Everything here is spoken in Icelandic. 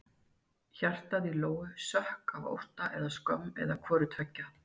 Hjartað í Lóu sökk af ótta eða skömm eða hvoru tveggja.